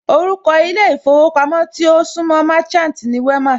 Orúkọ ilé ìfowópamọ́ tí ó súńmọ Merchant ni Wema